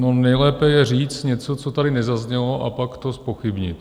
No nejlépe je říct něco, co tady nezaznělo, a pak to zpochybnit.